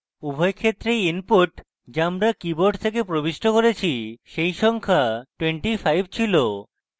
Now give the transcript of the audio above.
আমরা দেখতে পাই যে উভয় ক্ষেত্রেই input যা আমরা keyboard থেকে প্রবিষ্ট করেছি সেই সংখ্যা 25 ছিল